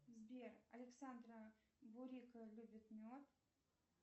сбер александра бурика любит мед